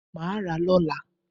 Mà a rà a lọ́la